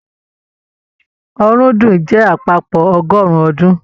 Ọ̀rúndún jẹ àpapọ ọgọrun ọdún.